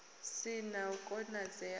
si na u konadzea ha